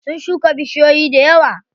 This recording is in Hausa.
Sun shuka bishiyoyi dayawa.